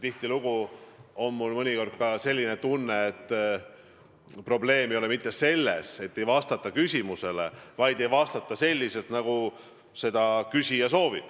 Tihtilugu on mul ka mõnikord selline tunne, et probleem ei ole mitte selles, et ei vastata küsimusele, vaid selles, et ei vastata nii, nagu küsija soovib.